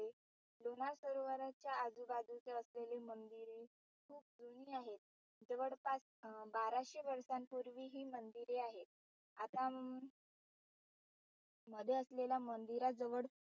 लोणार सरोवराचे आजूबाजूचे असलेले मंदिरे खूप जुनी आहेत. जवळपास बाराशे वर्षांपूर्वी हि मंदिरे आहेत. आता अं मध्ये असलेल्या मंदिरात जवळ